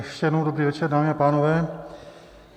Ještě jednou dobrý večer, dámy a pánové.